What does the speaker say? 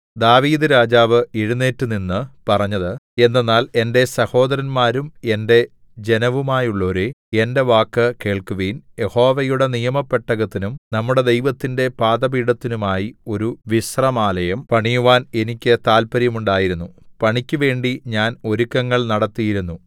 ദാവീദ്‌ രാജാവ് എഴുന്നേറ്റുനിന്ന് പറഞ്ഞത് എന്തെന്നാൽ എന്റെ സഹോദരന്മാരും എന്റെ ജനവുമായുള്ളോരേ എന്റെ വാക്കു കേൾക്കുവിൻ യഹോവയുടെ നിയമപെട്ടകത്തിനും നമ്മുടെ ദൈവത്തിന്റെ പാദപീഠത്തിനുമായി ഒരു വിശ്രമാലയം പണിയുവാൻ എനിക്ക് താല്പര്യം ഉണ്ടായിരുന്നു പണിക്കുവേണ്ടി ഞാൻ ഒരുക്കങ്ങൾ നടത്തിയിരുന്നു